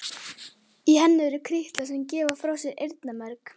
Í henni eru kirtlar sem gefa frá sér eyrnamerg.